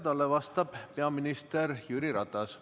Talle vastab peaminister Jüri Ratas.